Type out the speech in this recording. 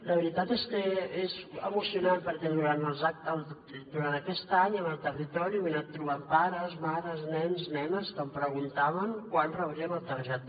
la veritat és que és emocionant perquè durant aquest any en el territori m’he anat trobant pares mares nens nenes que em preguntaven quan rebrien la targeta